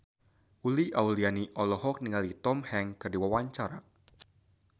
Uli Auliani olohok ningali Tom Hanks keur diwawancara